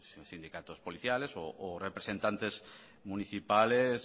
los sindicatos policiales o representantes municipales